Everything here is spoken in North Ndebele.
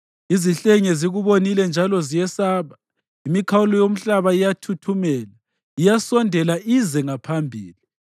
Izihlenge zikubonile njalo ziyesaba; imikhawulo yomhlaba iyathuthumela, iyasondela ize ngaphambili;